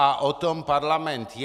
A o tom parlament je.